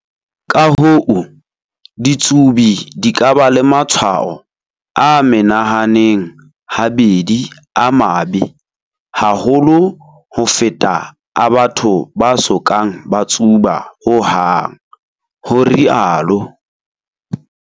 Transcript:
Ka hoo, ditsubi di ka ba le matshwao a menahaneng habedi a mabe haholo ho feta a batho ba so kang ba tsuba hohang, ho rialo